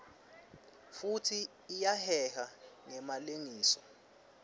futsi iyaheha ngemalengiso